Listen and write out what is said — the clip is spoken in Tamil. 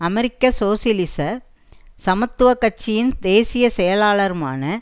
அமெரிக்க சோசியலிச சமத்துவ கட்சியின் தேசிய செயலாளருமான